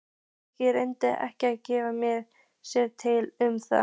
Friðrik reyndi ekki að geta sér til um það.